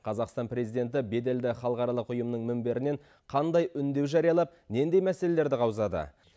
қазақстан президенті беделді халықаралық ұйымның мінберінен қандай үндеу жариялап нендей мәселелерді қаузады